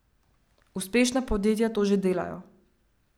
Uspešna podjetja to že delajo.